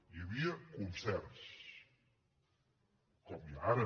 hi havia concerts com n’hi ha ara